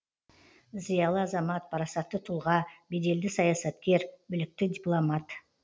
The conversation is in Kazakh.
зиалы азамат парасатты тұлға беделді саясаткер білікті дипломат